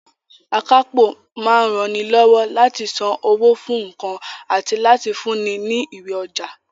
Akápò máa ń ranilọ́wọ́ láti san owó fún nǹkan àti láti fúnni ní ìwé ọjà